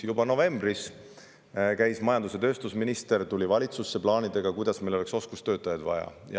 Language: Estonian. Juba novembris tuli majandus- ja tööstusminister valitsusse oma plaanidega ja rääkis sellest, kuidas meil oleks oskustöötajaid vaja.